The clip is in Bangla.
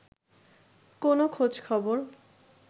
কোনো খোঁজ-খবর